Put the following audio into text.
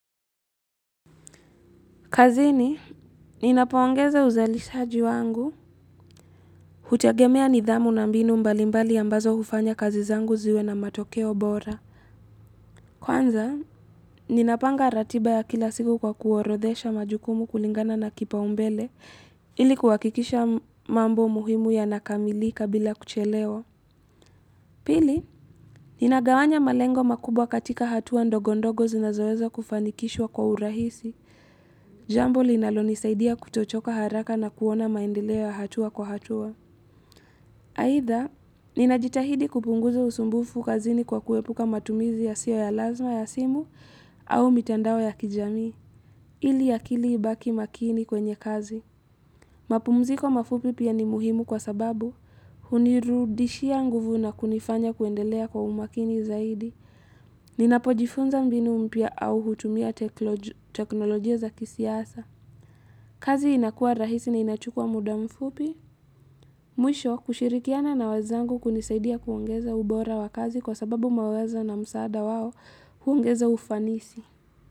Kazini, ninapoongeza uzalishaji wangu, hutegemea nidhamu na mbinu mbalimbali ambazo hufanya kazi zangu ziwe na matokeo bora. Kwanza, ninapanga ratiba ya kila siku kwa kuorodhesha majukumu kulingana na kipaumbele, ili kuhakikisha mambo muhimu yanakamilika bila kuchelewa. Pili, ninagawanya malengo makubwa katika hatua ndogondogo zinazoweza kufanikishwa kwa urahisi. Jambo linalonisaidia kutochoka haraka na kuona maendeleo ya hatua kwa hatua aidha, ninajitahidi kupunguza usumbufu kazini kwa kuepuka matumizi yasiyo ya lazma ya simu au mitandao ya kijamii, ili akili ibaki makini kwenye kazi mapumziko mafupi pia ni muhimu kwa sababu Hunirudishia nguvu na kunifanya kuendelea kwa umakini zaidi Ninapojifunza mbinu mpya au hutumia teknolojia za kisiasa kazi inakua rahisi na inachukua muda mfupi. Mwisho, kushirikiana na wenzangu kunisaidia kuongeza ubora wa kazi kwa sababu mawazo na msaada wao huongeza ufanisi.